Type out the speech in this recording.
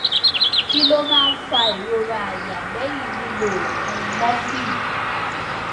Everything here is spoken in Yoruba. kí ló máa ń fa ìrora àyà lẹyìn lílo oògùn morphine